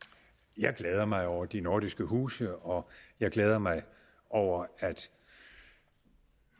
jeg glæder mig over de nordiske huse og jeg glæder mig over at